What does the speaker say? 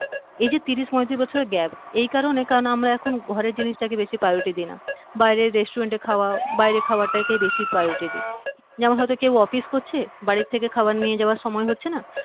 এই যে তিরিশ পয়ত্রিশ বছরের gap এই কারণে কারণ আমরা এখন ঘরের জিনিসটাকে বেশি priority দেই না বাইরে restaurant এ খাওয়া বাইরের খাবারটাকেই বেশি priority দেই যেমন হয়তো কেউ office করছে বাড়ি থেকে খাবার নিয়ে যাবার সময় হচ্ছে না